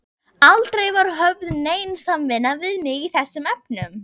Aldrei var höfð nein samvinna við mig í þessum efnum.